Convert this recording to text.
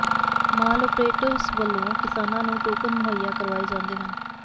ਮਾਲ operators ਵਲੋਂ ਕਿਸਾਨਾਂ ਨੂੰ ਟੋਕਨ ਮੁਹੱਈਆ ਕਰਵਾਏ ਜਾਂਦੇ ਹਨ